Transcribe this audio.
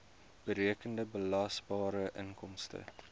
berekende belasbare inkomste